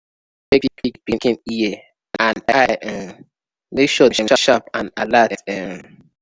check pig pikin ear and eye um make sure dem sharp and alert. um